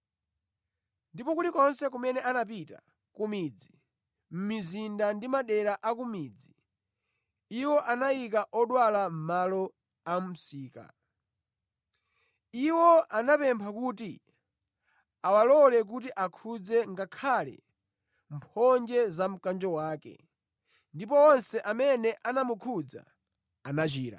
Ndipo kulikonse kumene anapita, ku midzi, mʼmizinda ndi madera a ku midzi, iwo anayika odwala mʼmalo a mʼmisika. Iwo anamupempha kuti awalole kuti akhudze ngakhale mphonje za mkanjo wake, ndipo onse amene anamukhudza anachira.